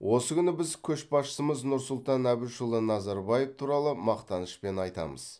осы күні біз көшбасшымыз нұрсұлтан әбішұлы назарбаев туралы мақтанышпен айтамыз